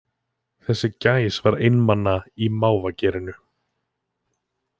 Þessi gæs var einmana í mávagerinu